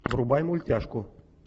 врубай мультяшку